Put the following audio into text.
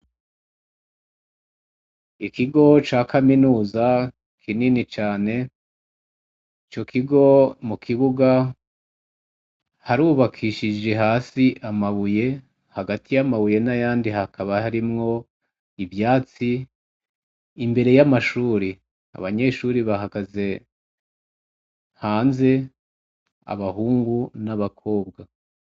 Ikigo ca kaminuza kinini cane, ico kigo mu kibuga harubakishije hasi amabuye, hagati y'amabuye n'ayandi hakaba harimwo ivyatsi. Imbere y'amashuri, abanyeshuri bahagaze hanze, abahungu n'abakobwa.